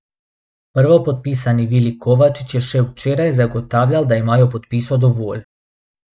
Prvopodpisani Vili Kovačič je še včeraj zagotavljal, da imajo podpisov dovolj.